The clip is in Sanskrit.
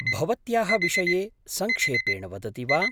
भवत्याः विषये सङ्क्षेपेण वदति वा?